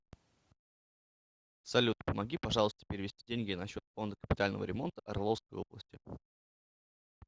салют помоги пожалуйста перевести деньги на счет фонда капитального ремонта орловской области